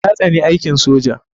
Ta tsani aikin soja.